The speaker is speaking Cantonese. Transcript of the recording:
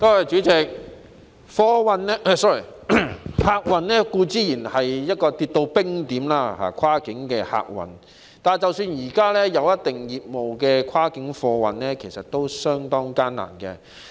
主席，跨境客運固然已跌至冰點，但即使現時維持一定業務的跨境貨運，其實經營亦相當艱難。